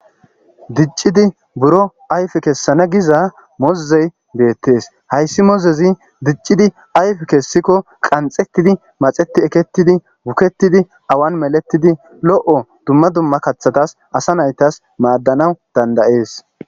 diccidi buro ayfe kessana giza mozey beettees hayssi mozezi diccidi ayf kessikko qanxetidi maxeti ekettidi bukettidi awan meletidi lo7o dumma dumma kathatas asa naytas maaddanawu dandayees